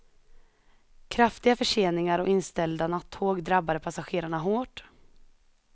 Kraftiga förseningar och inställda nattåg drabbade passagerarna hårt.